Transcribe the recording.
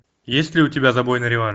есть ли у тебя забойный реванш